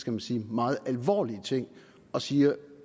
man sige meget alvorlige ting og siger